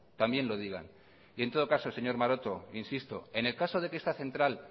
también lo digan y en todo caso señor maroto insisto en el caso de que esta central